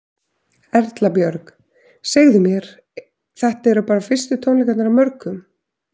Erla Björg: Segðu mér, þetta eru bara fyrstu tónleikarnir af mörgum?